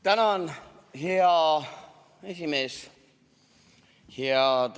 Tänan, hea esimees!